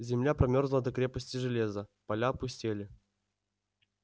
земля промёрзла до крепости железа поля опустели